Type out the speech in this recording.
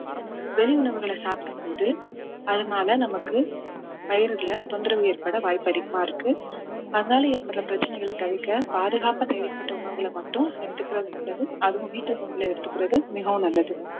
வெளி உணவுகளை சாப்பிடும்போது அதனால நமக்கு வயிறுல தொந்தரவு ஏற்பட வாய்ப்பு அதிகமா இருக்கு அதனால ஏற்படுற பிரச்சனைகளை தவிர்க்க பாதுகாப்பா தயாரிக்கப்பட்ட உணவுகள மட்டும் எடுத்துக்கிறது நல்லது அதுவும் வீட்டு உணவுகளை எடுத்துக்கிறது மிகவும் நல்லது